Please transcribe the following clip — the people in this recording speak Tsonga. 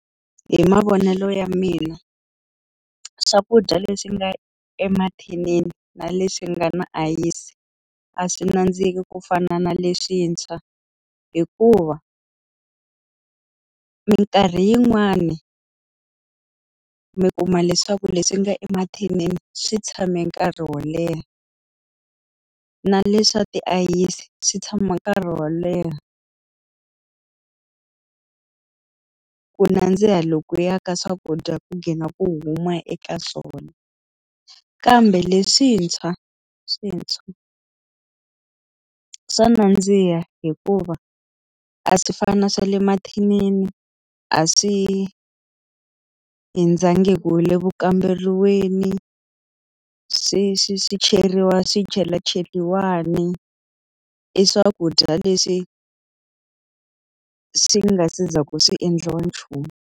Hi mavonelo ya mina, swakudya leswi nga emathinini na leswi nga na ayisi a swi nandziki ku fana na leswintshwa. Hikuva minkarhi yin'wani, mi kuma leswaku leswi nga emathinini swi tshame nkarhi wo leha na leswi swa tiayisi swi tshama nkarhi wo leha ku nandziha loko ya ka swakudya ku ghina ku huma eka swona. Kambe leswintshwa swintshwa swa nandziha hikuva a swi fani na swa le mathinini, a swi hundzangi hi le ku kamberiweni, swi swi swi cheriwa swichelachelani. I swakudya leswi swi nga se za ku swi endliwa nchumu.